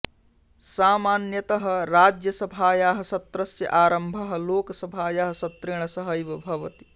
सामान्यतः राज्यसभायाः सत्रस्य आरम्भः लोकसभायाः सत्रेण सहैव भवति